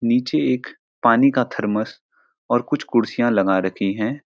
नीचे एक पानी का थरमस और कुछ कुर्सिया लगा रखी हैं।